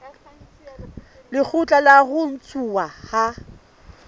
lekgotla la ho ntshuwa ha